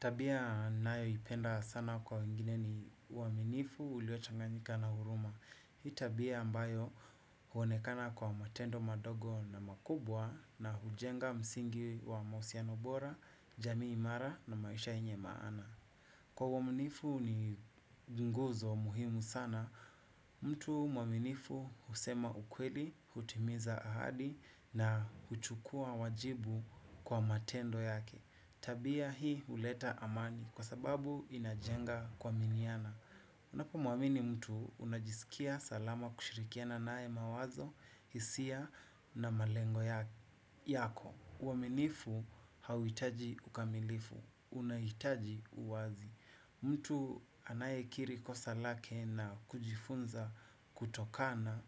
Tabia nayoipenda sana kwa wengine ni uaminifu uliochaganyika na huruma. Hii tabia ambayo huonekana kwa matendo madogo na makubwa na hujenga msingi wa mahusiano bora, jamii imara na maisha yenye maana. Kwa uaminifu ni nguzo muhimu sana, mtu mwaminifu husema ukweli, hutimiza ahadi na huchukua wajibu kwa matendo yake. Tabia hii huleta amani kwa sababu inajenga kuaminiana. Unapo muamini mtu unajisikia salama kushirikiana naye mawazo, hisia na malengo yako. Uaminifu hauitaji ukamilifu, unahitaji uwazi. Mtu anayekiri kosa lake na kujifunza kutokana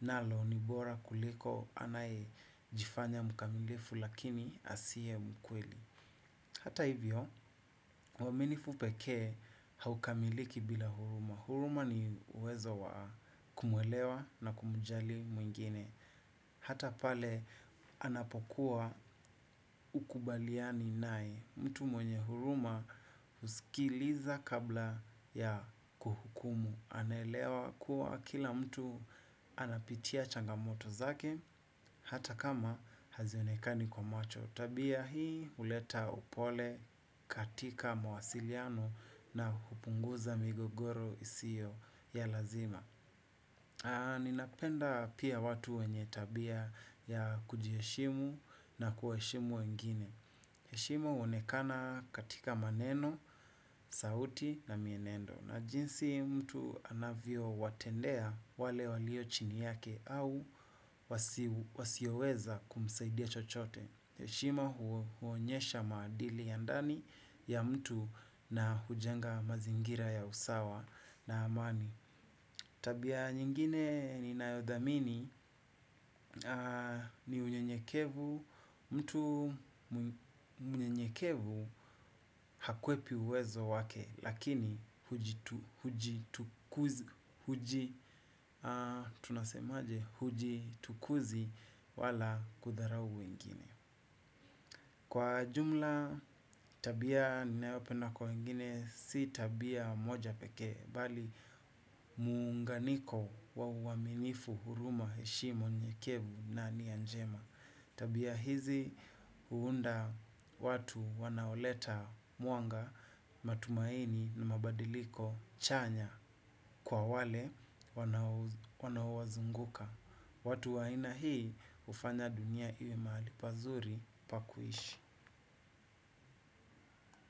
nalo ni bora kuliko anayejifanya mkamilifu lakini asiye mkweli. Hata hivyo, uaminifu pekee haukamiliki bila huruma. Huruma ni uwezo wa kumwelewa na kumjali mwingine. Hata pale, anapokuwa hukubaliani nae. Mtu mwenye huruma usikiliza kabla ya kuhukumu. Anelewa kuwa kila mtu anapitia changamoto zake, hata kama hazionekani kwa macho. Tabia hii huleta upole katika mawasiliano na kupunguza migogoro isiyo ya lazima. Ninapenda pia watu wenye tabia ya kujiheshimu na kuheshimu wengine. Heshima uonekana katika maneno, sauti na mienendo. Na jinsi mtu anavyo watendea wale walio chini yake au wasioweza kumsaidia chochote heshima huonyesha maadili ya ndani ya mtu na hujenga mazingira ya usawa na amani tabia nyingine ninayothamini ni unyenyekevu. Mtu mnyenyekevu hakwepi uwezo wake. Lakini hujitukuzi wala kudharau wengine. Kwa jumla tabia ninayopenda kwa wengine si tabia moja pekee, bali muunganiko wa uaminifu huruma heshima unyenyekevu na nia njema. Tabia hizi huunda watu wanaoleta mwanga, matumaini na mabadiliko chanya kwa wale wanaowazunguka. Watu wa aina hii hufanya dunia iwe mahali pazuri pa kuishi.